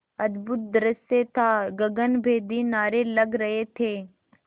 अद्भुत दृश्य था गगनभेदी नारे लग रहे थे